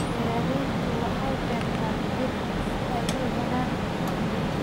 Beeraleydu waxay beertaan dhir si ay u helaan dalagyo.